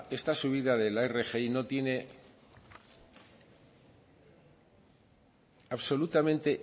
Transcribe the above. esta subida de la rgi no tiene absolutamente